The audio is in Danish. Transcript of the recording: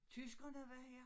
Tyskerne var her